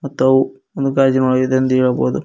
ತ್ತವು ಒಂದು ಗಾಜಿನ ಒಳ್ಗೆ ಇದೆ ಎಂದು ಹೇಳ್ಬೋದು.